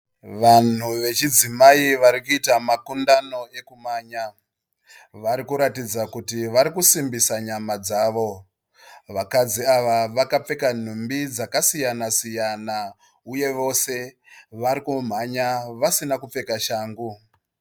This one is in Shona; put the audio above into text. Vanhu vechidzimai varikuita makundano ekumhanya. Varikuratidza kuti varikusimbisa dzama dzavo. Vakadzi ava vakapfeka nhumbi dzakasiyana siyana uye vose vari kumhanya vasina kupfeka shangu.